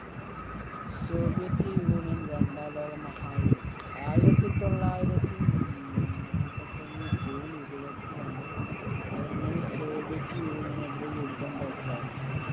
soviet union രണ്ടാം ലോക മഹായുദ്ധത്തിൽ ആയിരത്തി തൊള്ളായിരത്തി നാൽപത്തിയൊന്ന് ജൂൺ ഇരുപത്തിരണ്ട് ജർമ്മനി soviet union എതിരെ യുദ്ധം പ്രഖ്യാപിച്ചു